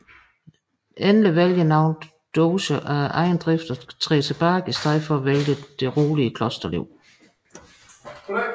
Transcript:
Endelig vælger nogle doger af egen drift at træde tilbage og i stedet vælge det rolige klosterliv